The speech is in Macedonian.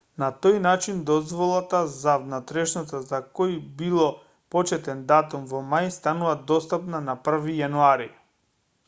на тој начин дозволата за внатрешноста за кој било почетен датум во мај станува достапна на 1-ви јануари